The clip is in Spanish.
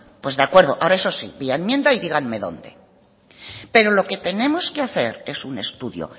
pues de acuerdo ahora eso sí vía enmienda y díganme dónde pero lo que tenemos que hacer es un estudio